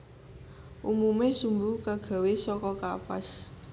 Umume sumbu kagawe saka kapas